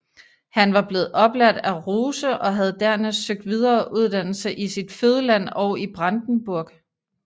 Han var blevet oplært af Ruse og havde dernæst søgt videre uddannelse i sit fødeland og i Brandenburg